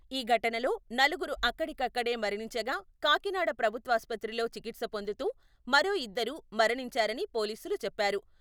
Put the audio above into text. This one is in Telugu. ఈ ఘటనలో నలుగురు అక్కడికక్కడే మరణించగా, కాకినాడ ప్రభుత్వాసుపత్రిలో చికిత్స పొందుతూ మరో ఇద్దరు మరణించారని పోలీసులు చెప్పారు.